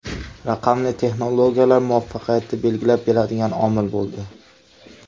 Raqamli texnologiyalar muvaffaqiyatni belgilab beradigan omil bo‘ldi.